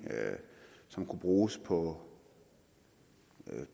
som kunne bruges på